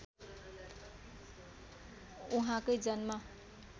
उहाँकै जन्म